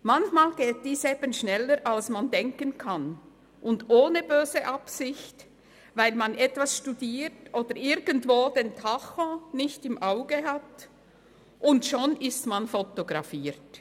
Manchmal geht dies eben schneller, als man denkt, und ohne böse Absicht, weil man etwas studiert oder irgendwo den Tacho nicht im Auge hat, und schon ist man fotografiert.